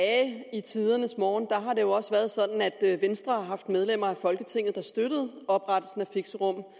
i tidernes morgen har det jo også være sådan at venstre har haft medlemmer af folketinget der støttede oprettelsen af fixerum